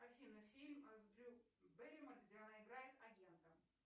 афина фильм с дрю бэрримор где она играет агента